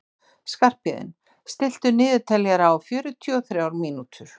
Skarphéðinn, stilltu niðurteljara á fjörutíu og þrjár mínútur.